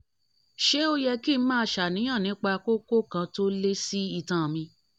ṣé ó yẹ kí n máa ṣàníyàn nípa kókó kan tó lé sí itan mi?